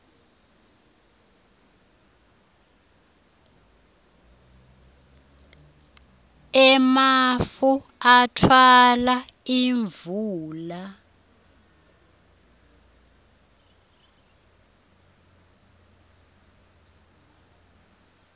emafu atfwala imvula